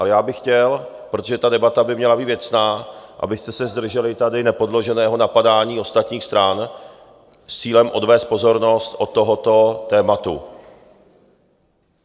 Ale já bych chtěl, protože ta debata by měla být věcná, abyste se zdrželi tady nepodloženého napadání ostatních stran s cílem odvést pozornost od tohoto tématu.